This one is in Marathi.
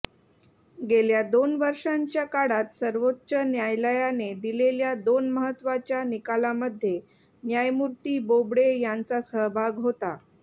गेल्या दोन वर्षांच्या काळात सर्वोच्च न्यायालयाने दिलेल्या दोन महत्त्वाच्या निकालामध्ये न्यायमूर्ती बोबडे यांचा सहभाग होता